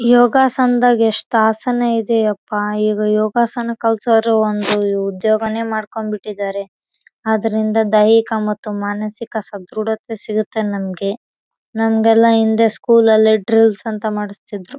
ಕೆಂಪು ಮತ್ತು ಗುಲಾಬಿ ಬಟ್ಟೆಯಿಂದ ಅಲಂಕಾರ ಮಾಡಿದ್ದಾರೆ